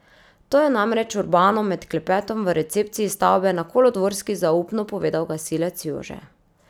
To je namreč Urbanu med klepetom v recepciji stavbe na Kolodvorski zaupno povedal gasilec Jože.